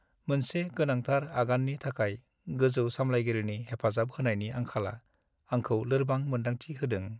मोनसे गोनांथार आगाननि थाखाय गोजौ सामलायगिरिनि हेफाजाब होनायनि आंखालआ आंखौ लोरबां मोन्दांथि होदों।